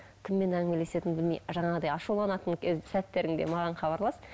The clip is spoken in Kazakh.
кіммен әңгімелесетініңді білмей жаңағыдай ашуланатын сәттеріңде маған хабарлас